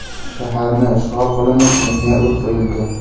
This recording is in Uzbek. Shaharni ishg‘ol qilinib, unga o‘t qo‘yildi.